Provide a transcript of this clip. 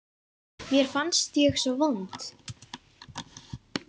Mér fannst ég svo vond.